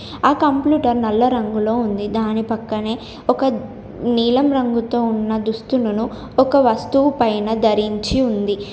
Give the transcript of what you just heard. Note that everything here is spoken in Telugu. ఆ కంప్లూటర్ నల్ల రంగులో ఉంది. దాని పక్కనే ఒక నీలం రంగుతో ఉన్న దుస్తులను ఒక వస్తువు పైన ధరించి ఉంది.